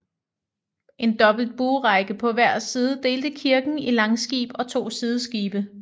En dobbelt buerække på hver side delte kirken i langskib og to sideskibe